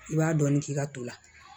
I b'a dɔɔnin k'i ka to la